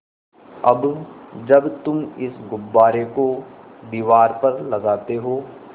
अब जब तुम इस गुब्बारे को दीवार पर लगाते हो